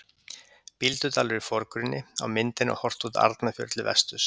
Bíldudalur í forgrunni, á myndinni er horft út Arnarfjörð til vesturs.